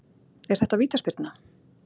Er þetta vítaspyrna?